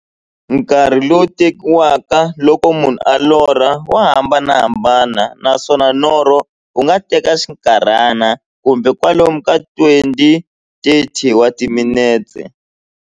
Nkarhi lowu tekiwaka loko munhu a lorha, wa hambanahambana, naswona norho wu nga teka xinkarhana, kumbe kwalomu ka 20-30 wa timinete.